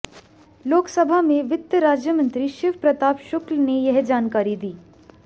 लोकसभा में वित्त राज्यमंत्री शिव प्रताप शुक्ल ने यह जानकारी दी